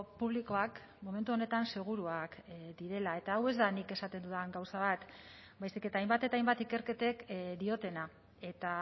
publikoak momentu honetan seguruak direla eta hau ez da nik esaten dudan gauza bat baizik eta hainbat eta hainbat ikerketek diotena eta